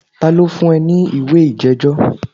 Ta ló fún ẹ ní ìwé ìjẹ́jọ́?